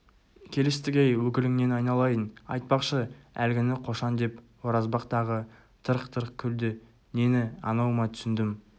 келістік-ей өкіліңнен айналайын айтпақшы әлгіні қошан деп оразбақ тағы тырқ-тырқ күлді нені анау ма түсіндім